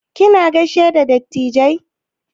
Kina gaishe da dattijai?